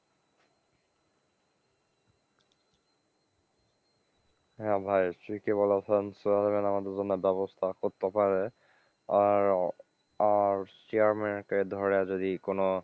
হ্যাঁ ভাই ঠিকই বলেছেন চেয়ারম্যান আমাদের জন্য ব্যবস্থা করতে পারে, আর, আর চেয়ারম্যান কে ধরে যদি কোন,